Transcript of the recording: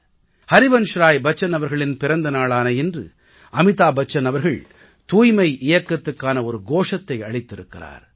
ஹரிவன்ஷ்ராய் அவர்களின் பிறந்த நாளான இன்று அமிதாப் பச்சன் அவர்கள் தூய்மை இயக்கத்துக்கான ஒரு கோஷத்தை அளித்திருக்கிறார்